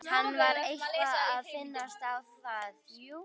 Hann var eitthvað að minnast á það, jú.